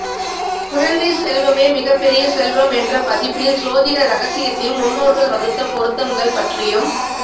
குழந்தை செல்வமே மிக பெரிய செல்வம் என்ற பதிப்பில் சோதிட ரகசியத்தையும் முன்னோர்கள் வகுத்த பொருத்தம்கள் பற்றியும்